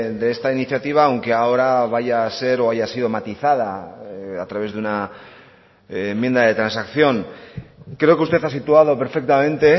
de esta iniciativa aunque ahora vaya a ser o haya sido matizada a través de una enmienda de transacción creo que usted ha situado perfectamente